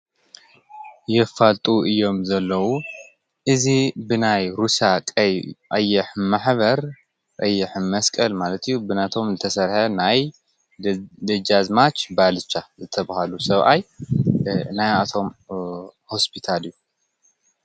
የፋልጡ እዮም ዘለዉ እዚ ብናይ ሩስያ ቀይሕ ማሕብር ቀይሕ መስቀል ማለት እዩ። ብናቶም ዝተሰርሐ ናይ ደጃዝማች ባልቻ ዝተብሃሉ ሰብኣይ ናይቶም ሆስፒታል እዩ።